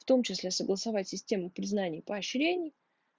в том числе согласовать системы признание поощрений